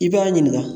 I b'a ɲininka